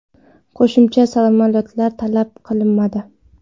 Qo‘shimcha samolyotlar talab qilinmadi.